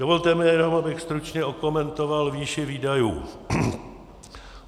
Dovolte mi jenom, abych stručně okomentoval výši výdajů.